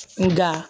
Nga